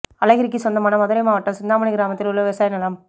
அழகிரிக்கு சொந்தமான மதுரை மாவட்டம் சிந்தாமனி கிராமத்தில் உள்ள விவசாய நிலம்